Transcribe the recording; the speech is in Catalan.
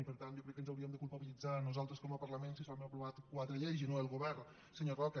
i per tant jo crec que ens hauríem de culpabilitzar nosaltres com a parlament si s’han aprovat quatre lleis i no el govern senyor roca